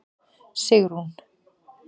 Sigrún